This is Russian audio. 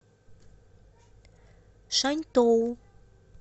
шаньтоу